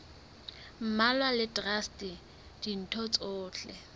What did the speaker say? mmalwa le traste ditho tsohle